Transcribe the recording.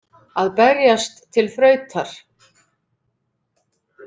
Að berjast til þrautar